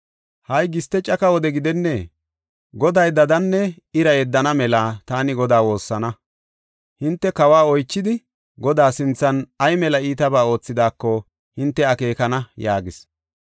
Ha77i giste caka wode gidennee? Goday dadanne ira yeddana mela taani Godaa woossana. Hinte kawo oychidi, Godaa sinthan ay mela iitaba oothidaako hinte akeekana” yaagis.